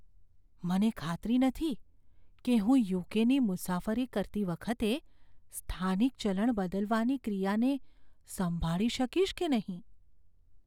મને ખાતરી નથી કે હું યુ.કે.ની મુસાફરી કરતી વખતે સ્થાનિક ચલણ બદલવાની ક્રિયાને સંભાળી શકીશ કે નહીં.